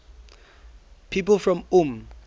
people from ulm